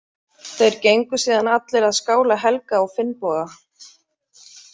Þeir gengu síðan allir að skála Helga og Finnboga.